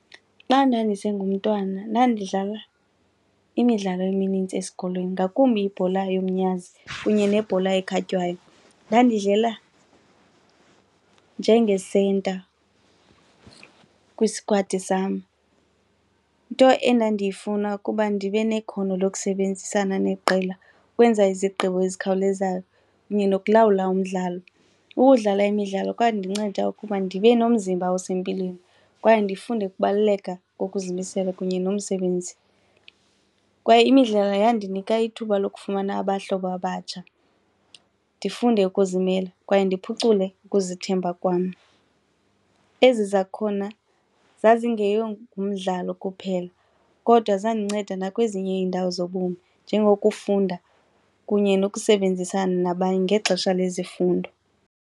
Xa ndandise ngumntwana ndandidlala imidlalo eminintsi esikolweni ngakumbi ibhola yomnyazi kunye nebhola ekhatywayo. Ndandidlala njengesenta kwisikwadi sam, into endandiyifuna ukuba ndibe nekhono lokusebenzisana neqela, ukwenza izigqibo ezikhawulezayo kunye nokulawula umdlalo. Ukudlala imidlalo kwandinceda ukuba ndibe nomzimba osempilweni kwaye ndifunde ukubaluleka kokuzimisela kunye nomsebenzi. Kwaye imidlalo yandinika ithuba lokufumana abahlobo abatsha, ndifunde ukuzimela kwaye ndiphucule ukuzithemba kwam. Ezi zakhona zazingeyo ngumdlalo kuphela kodwa zandinceda nakwezinye iindawo zobomi njengokufunda kunye nokusebenzisana nabanye ngexesha lezifundo.